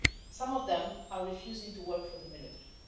Some of them are refusing to work for the military.